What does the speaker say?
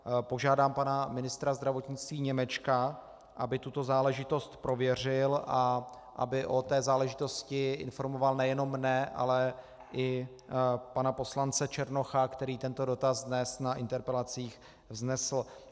Požádám pana ministra zdravotnictví Němečka, aby tuto záležitost prověřil a aby o té záležitosti informoval nejenom mne, ale i pana poslance Černocha, který tento dotaz dnes na interpelacích vznesl.